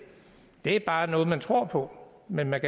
er bare noget man tror på men man